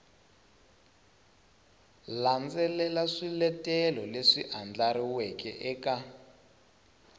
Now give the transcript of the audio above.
landzelela swiletelo leswi andlariweke eka